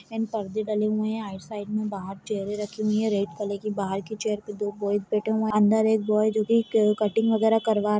-- पर्दे डले हुए है आइड साइड में बाहर चेयरे रखी हुई है रेड कलर की बाहर की चेयर पर दो बॉयज बैठे हुए है अन्दर एक बॉय जो की कत्टिंग वगेरा करवा--